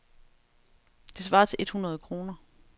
Det svarer til et hundrede kroner.